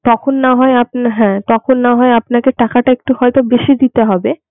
তখন না হয় আপন হ্যা তখন না হয় আপনাকে টাকাটা একটু হয়তো বেশি দিতে হবে